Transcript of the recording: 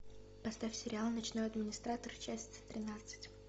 поставь сериал ночной администратор часть тринадцать